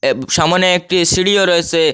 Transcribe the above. এব সামনে একটি সিঁড়িও রয়েসে।